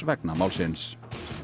vegna málsins